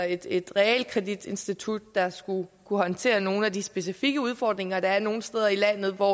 et realkreditinstitut der skulle kunne håndtere nogle af de specifikke udfordringer der er nogle steder i landet hvor